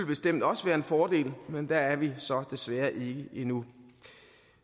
bestemt også være en fordel men der er vi så desværre ikke endnu